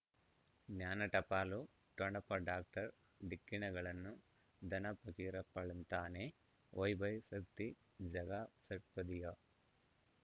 ಜ್ಞಾನ ಟಪಾಲು ಠೊಣಪ ಡಾಕ್ಟರ್ ಢಿಕ್ಕಿ ಣಗಳನು ಧನ ಫಕೀರಪ್ಪ ಳಂತಾನೆ ವೈಭೈ ಶಕ್ತಿ ಝಗಾ ಷಟ್ಪದಿಯ